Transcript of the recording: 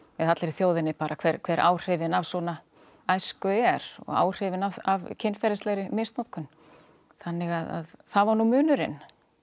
eða allri þjóðinni bara hver hver áhrifin af svona æsku er og áhrifin af kynferðislegri misnotkun þannig að það var nú munurinn